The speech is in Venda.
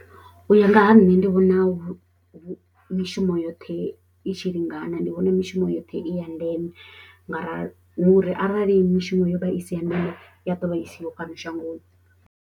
U ya nga ha nṋe ndi vhona mishumo yoṱhe i tshi lingana ndi vhona mishumo yoṱhe i ya ndeme nga arali hu uri arali mishumo yo vha i si ya ndeme ya ḓovha isiho fhano shangoni.